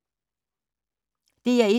DR1